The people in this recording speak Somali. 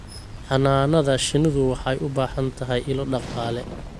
Xannaanada shinnidu waxay u baahan tahay ilo dhaqaale.